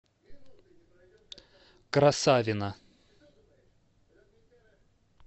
красавино